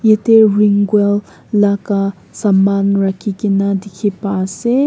ite ring well laka saman rakhi kena dikhi pai ase.